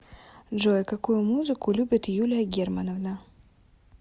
джой какую музыку любит юлия германовна